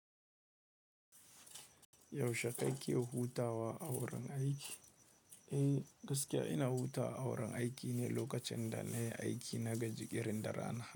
Yaushe kakeke huhutawa awurin aiki? Eh gaskiya ina hutawa awurin aiki ne lokacin da na yi aiki na gaji irin da rana.